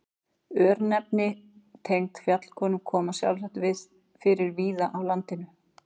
Örnefni tengd fjallkóngum koma sjálfsagt fyrir víða á landinu.